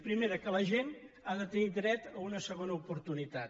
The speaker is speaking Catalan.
primera que la gent ha de tenir dret a una segona oportunitat